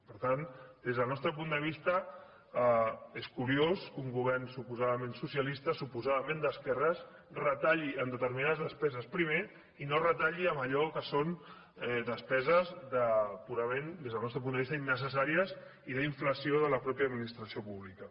per tant des del nostre punt de vista és curiós que un govern suposadament socialista suposadament d’esquerres retalli en determinades despeses primer i no retalli en allò que són despeses purament des del nostre punt de vista innecessàries i d’inflació de la mateixa administració pública